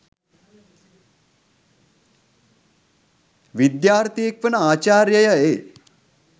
විද්‍යාර්තියෙක් වන ආචර්‍ය්‍යය එ